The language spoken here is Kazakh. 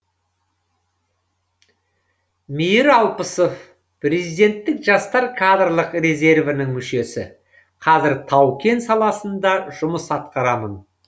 мейір алпысов президенттік жастар кадрлық резервінің мүшесі қазір тау кен саласында жұмыс атқарамын